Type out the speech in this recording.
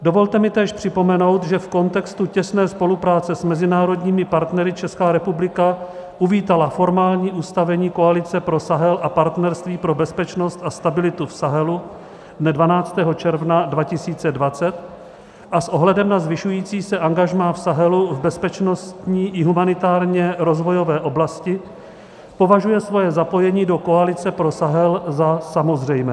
Dovolte mi též připomenout, že v kontextu těsné spolupráce s mezinárodními partnery Česká republika uvítala formální ustavení koalice pro Sahel a partnerství pro bezpečnost a stabilitu v Sahelu dne 12. června 2020 a s ohledem na zvyšující se angažmá v Sahelu v bezpečnostní i humanitárně rozvojové oblasti považuje svoje zapojení do koalice pro Sahel za samozřejmé.